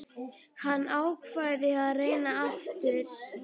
Hann ákvað að reyna aftur.